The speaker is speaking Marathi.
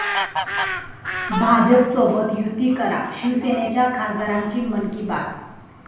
भाजपसोबत 'युती' करा, शिवसेनेच्या खासदारांची 'मन की बात'!